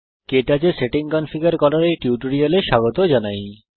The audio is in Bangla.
কে টচ এ সেটিং কনফিগার করার এই টিউটোরিয়ালে স্বাগত জানাই